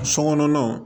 Sokɔnɔnaw